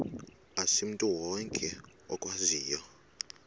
asimntu wonke okwaziyo